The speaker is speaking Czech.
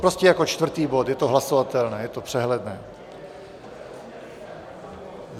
Prostě jako čtvrtý bod, je to hlasovatelné, je to přehledné.